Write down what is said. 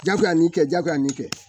Ja bɛ ka nin kɛ jagoya nin kɛ